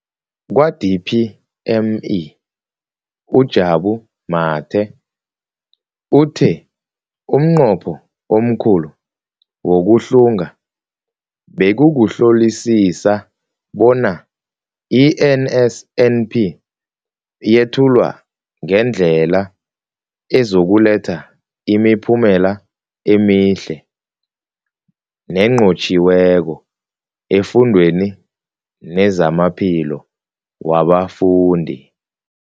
Kwa-DPME, uJabu Mathe, uthe umnqopho omkhulu wokuhlunga bekukuhlolisisa bona i-NSNP yethulwa ngendlela ezokuletha imiphumela emihle nenqotjhiweko efundweni nezamaphilo wabafundi.